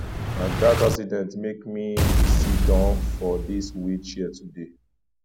na dat accident make me siddon for dis wheel chair today